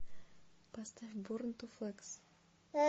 поставь борн ту флекс